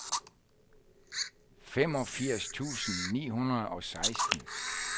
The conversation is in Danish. femogfirs tusind ni hundrede og seksten